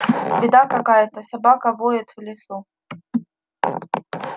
беда какая-то собака воет в лесу